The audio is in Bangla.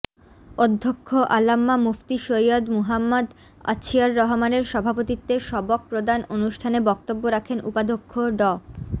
অধ্যক্ষ আল্লামা মুফতি সৈয়্যদ মুহাম্মদ অছিয়র রহমানের সভাপতিত্বে সবক প্রদান অনুষ্ঠানে বক্তব্য রাখেন উপাধ্যক্ষ ড